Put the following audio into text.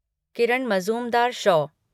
Kiran Mazumdar Shaw